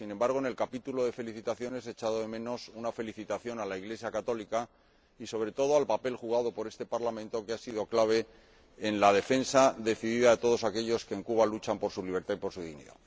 Sin embargo, en el capítulo de felicitaciones he echado de menos una felicitación a la Iglesia católica y, sobre todo, al papel desempeñado por este Parlamento, que ha sido clave en la defensa decidida de todos aquellos que, en Cuba, luchan por su libertad y por su dignidad.